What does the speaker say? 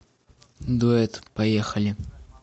дуэт поехали